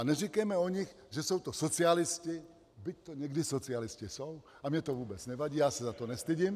A neříkejme o nich, že jsou to socialisti, byť to někdy socialisti jsou - a mně to vůbec nevadí, já se za to nestydím.